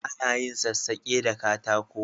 A na yin sassake da katako